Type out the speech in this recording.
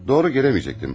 Doğru gələməyəcəkdim.